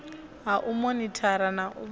ha u monithara na u